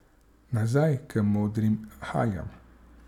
Nazaj k modrim haljam.